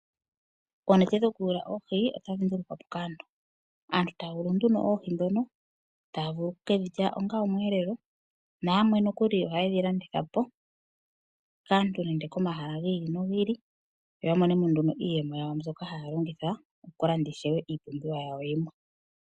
Oonete dhokuyula oohi otadhi longithwa kaantu. Aantu taya yulu nduno oohi ndhoka, taye ke dhi lya onga omweelelo nayamwe nokuli ohaye dhi landitha po kaantu nenge komahala gi ili nogi ili yo ya mone mo nduno iiyemo mbyono haya longitha okulanda iipumbiwa yawo yimwe.